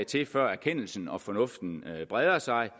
til før erkendelsen og fornuften breder sig